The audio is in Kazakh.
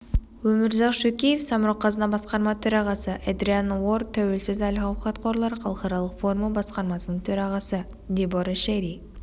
өмірзақ шөкеев самрұқ-қазына басқарма төрағасы эдриан орр тәуелсіз әл-ауқат қорлары халықаралық форумы басқармасының төрағасы дебора шерри